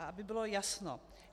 A aby bylo jasno.